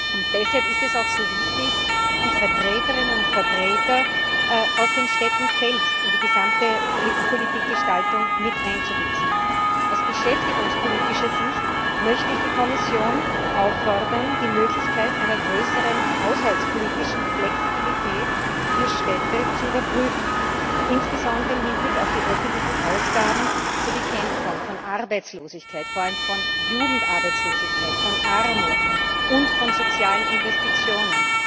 Und deshalb ist es auch so wichtig, die Vertreterinnen und Vertreter aus den Städten selbst in die gesamte EU Politikgestaltung mit einzubeziehen. Aus beschäftigungspolitischer Sicht möchte ich die Kommission auffordern, die Möglichkeit einer größeren haushaltspolitischen Flexibilität für Städte zu überprüfen, insbesondere im Hinblick auf die öffentlichen Ausgaben zur Bekämpfung von Arbeitslosigkeit, vor allem von Jugendarbeitslosigkeit, von Armut und von sozialen Investitionen.